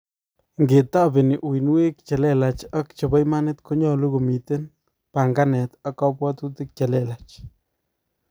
ngetabeni uinwek che lelach ak chepo imanit konyalu komiten panganet ak kabwatutik chelelach